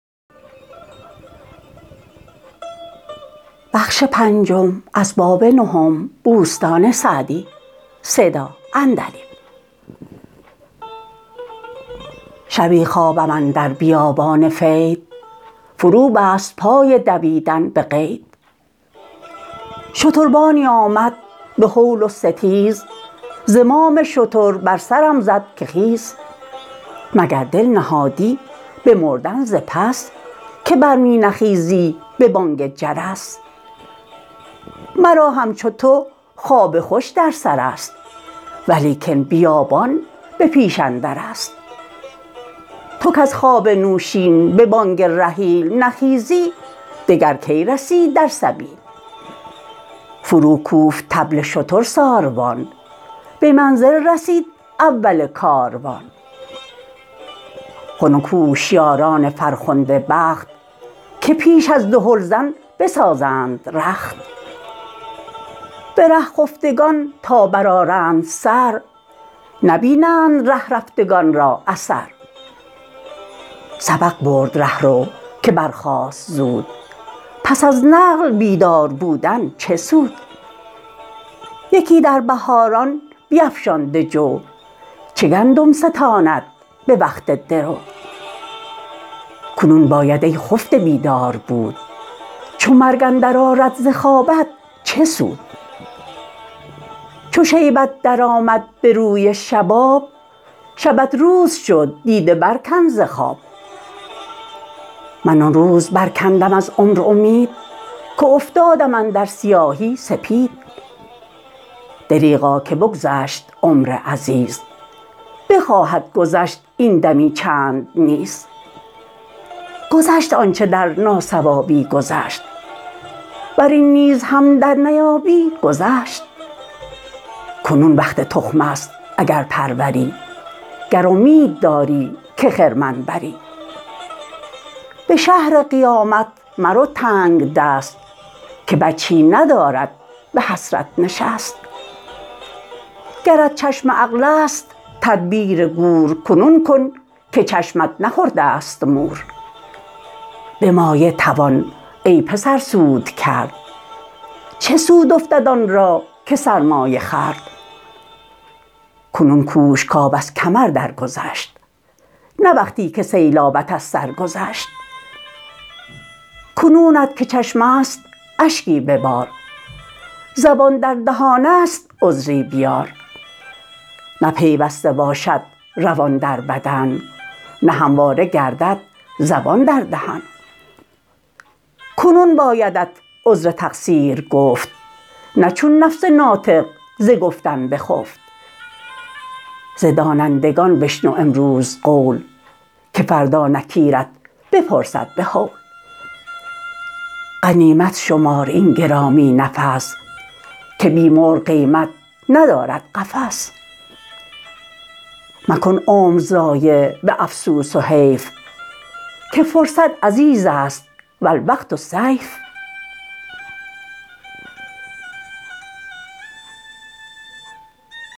شبی خوابم اندر بیابان فید فرو بست پای دویدن به قید شتربانی آمد به هول و ستیز زمام شتر بر سرم زد که خیز مگر دل نهادی به مردن ز پس که بر می نخیزی به بانگ جرس مرا همچو تو خواب خوش در سر است ولیکن بیابان به پیش اندر است تو کز خواب نوشین به بانگ رحیل نخیزی دگر کی رسی در سبیل فرو کوفت طبل شتر ساروان به منزل رسید اول کاروان خنک هوشیاران فرخنده بخت که پیش از دهلزن بسازند رخت به ره خفتگان تا بر آرند سر نبینند ره رفتگان را اثر سبق برد رهرو که برخاست زود پس از نقل بیدار بودن چه سود یکی در بهاران بیفشانده جو چه گندم ستاند به وقت درو کنون باید ای خفته بیدار بود چو مرگ اندر آرد ز خوابت چه سود چو شیبت در آمد به روی شباب شبت روز شد دیده بر کن ز خواب من آن روز بر کندم از عمر امید که افتادم اندر سیاهی سپید دریغا که بگذشت عمر عزیز بخواهد گذشت این دمی چند نیز گذشت آنچه در ناصوابی گذشت ور این نیز هم در نیابی گذشت کنون وقت تخم است اگر پروری گر امید داری که خرمن بری به شهر قیامت مرو تنگدست که وجهی ندارد به حسرت نشست گرت چشم عقل است تدبیر گور کنون کن که چشمت نخورده ست مور به مایه توان ای پسر سود کرد چه سود افتد آن را که سرمایه خورد کنون کوش کآب از کمر در گذشت نه وقتی که سیلابت از سر گذشت کنونت که چشم است اشکی ببار زبان در دهان است عذری بیار نه پیوسته باشد روان در بدن نه همواره گردد زبان در دهن کنون بایدت عذر تقصیر گفت نه چون نفس ناطق ز گفتن بخفت ز دانندگان بشنو امروز قول که فردا نکیرت بپرسد به هول غنیمت شمار این گرامی نفس که بی مرغ قیمت ندارد قفس مکن عمر ضایع به افسوس و حیف که فرصت عزیز است و الوقت سیف